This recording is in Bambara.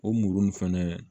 O muru nin fɛnɛ